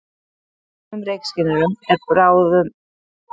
Í sumum reykskynjurum er báðum aðferðum beitt.